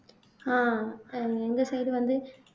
ஆஹ் அஹ் எங்க side வந்து